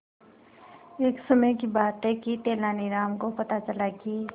एक समय की बात है कि तेनालीराम को पता चला कि